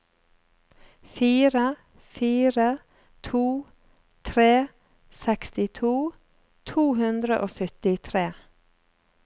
fire fire to tre sekstito to hundre og syttitre